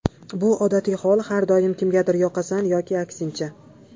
Bu odatiy hol, har doim kimgadir yoqasan yoki aksincha.